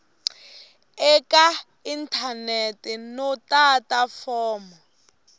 eka inthanete no tata fomo